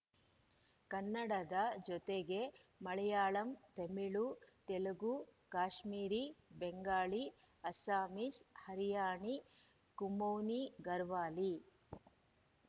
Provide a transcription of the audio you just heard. ಕನ್ನಡದ ಜೊತೆಗೆ ಮಲಯಾಳಂ ತಮಿಳು ತೆಲುಗು ಕಾಶ್ಮೀರಿ ಬೆಂಗಾಳಿ ಅಸ್ಸಾಮೀಸ್‌ ಹರಿಯಾಣಿ ಕುಮೌನಿಘರ್ವಾಲಿ